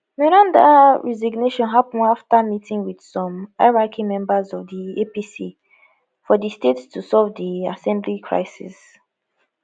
meranda resignation happun afta meeting wit some highranking members of di apc for di state to solve di assembly crisis